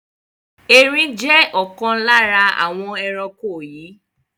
Erin jẹ́ ọ̀kan lára àwọn ẹranko yii